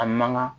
A mankan